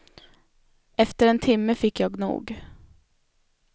Efter en timme fick jag nog.